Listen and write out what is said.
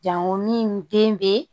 Jango min den bɛ